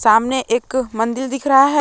सामने एक मंदिर दिख रहा है।